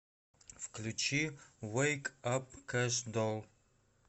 включи вэйк ап кэш дол